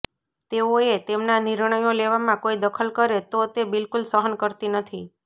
તેઓએ તેમના નિર્ણયો લેવામાં કોઈ દખલ કરે તો તે બિલકુલ સહન કરતી નથી